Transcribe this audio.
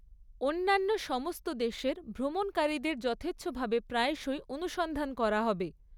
অন্যান্য সমস্ত দেশের ভ্রমণকারীদের যথেচ্ছভাবে প্রায়শই অনুসন্ধান করা হবে।